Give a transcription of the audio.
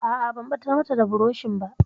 A'a, ban ɓatar mata da burushin ba.